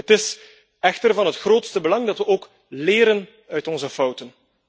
Het is echter van het grootste belang dat we ook leren uit onze fouten.